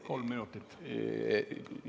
Kolm minutit, palun!